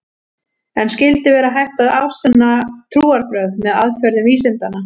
En skyldi vera hægt að afsanna trúarbrögð með aðferðum vísindanna?